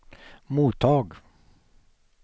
mottag